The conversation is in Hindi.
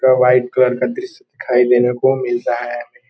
वाइट कलर का दृश्य दिखाई देने को मिल रहा है।